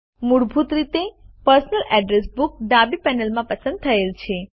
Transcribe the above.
મૂળભૂત રીતે personal address book ડાબી પેનલમાં પસંદ થયેલ છે